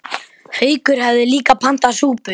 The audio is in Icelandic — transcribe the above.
Haukur hafði líka pantað súpu.